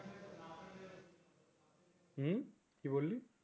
উম কি বললি